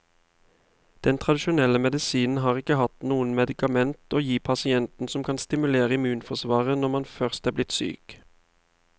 Den tradisjonelle medisinen har ikke hatt noe medikament å gi pasientene som kan stimulere immunforsvaret når man først er blitt syk.